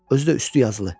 Özü də üstü yazılı.